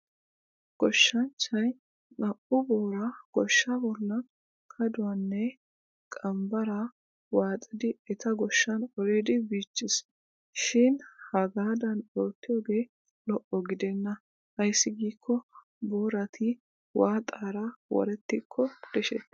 Goshshanchchay naa'u booraa goshshaa bollan kaduwanne qammibaraa waaxidi eta goshshan olidi biichchis. Shin hagaadan oottiyoogee lo'o gidenna ayssi giikko boorati waaxaara warettikko deshettes.